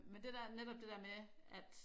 Men det der netop det dér med at